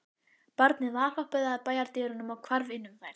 Barnið valhoppaði að bæjardyrunum og hvarf inn um þær.